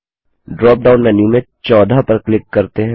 dropdown menu में 14 पर click करते हैं